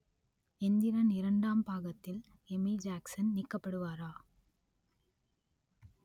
எந்திரன் இரண்டாம் பாகத்தில் Amy Jackson நீக்கப்படுவாரா?